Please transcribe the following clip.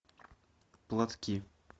платки